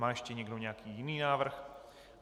Má ještě někdo nějaký jiný návrh?